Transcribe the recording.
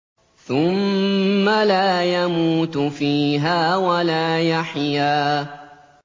ثُمَّ لَا يَمُوتُ فِيهَا وَلَا يَحْيَىٰ